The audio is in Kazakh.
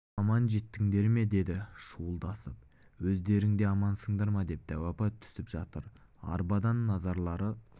аман жеттіңдер ме деді шуылдасып өздерің де амансыңдар ма деп дәу апа түсіп жатыр арбадан назарлары